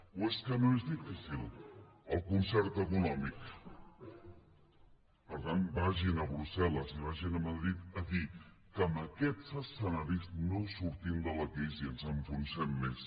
o és que no és difícil el concert econòmic per tant vagin a brussel·les i vagin a madrid a dir que amb aquests escenaris no sortim de la crisi ens enfonsem més